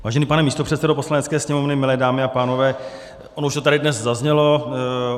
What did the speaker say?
Vážený pane místopředsedo Poslanecké sněmovny, milé dámy a pánové, ono už to tady dnes zaznělo.